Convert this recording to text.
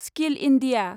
skill India